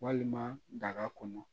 Walima daga kɔnɔ